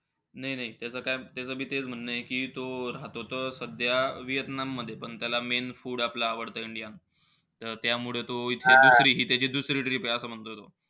नाई-नाई त्याचं काय, त्याचं बी तेचं म्हणय कि तो राहतो त सध्या व्हिएतनाममध्ये. पण त्याला main food आपलं आवडतं इंडिया. त त्यामुळे तो इथे हि त्याची दुसरी trip आहे.